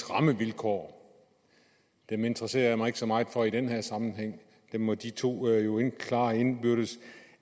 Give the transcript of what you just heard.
rammevilkår dem interesserer jeg mig ikke så meget for i den her sammenhæng dem må de to klare indbyrdes